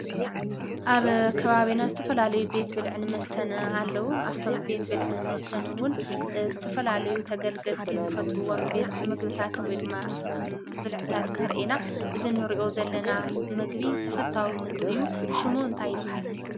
ኣብ ከባቢና ዝተፈላለዩ ቤት ብልዕን መስተን አለዉ። ካብቶም ቤት ብልዕን መስትን እውን ዝተፈላለዩ ተገልገልቲ ዝፈትውዎ ቤት ምግቢታት ውይ ድማ ብልዕታት ንሪኢ ኢና። እዚ እንሪኦ ዘለና ምግቢ ተፈታዊ ምግቢ እዩ፡፡ ሹሙ እንታይ ይበሃል?